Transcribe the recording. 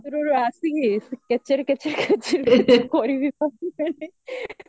ରୁହ ରୁହ ଆସିକି ସେ କେଚେରେ କେଚେରେ କେଚେରେ କେଚେରେ କରିବେ ପା ମୁଁ